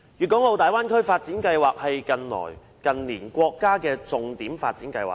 大灣區發展規劃是近年國家的重點發展計劃。